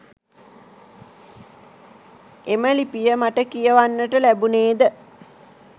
එම ලිපිය මට කියවන්නට ලැබුණේ ද